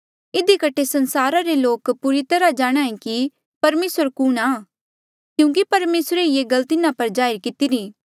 इधी कठे संसारा रे सारे लोक पूरी तरह जाणहां ऐें कि परमेसर कुणहां क्यूंकि परमेसरे ही ये गल तिन्हा पर जाहिर कितिरी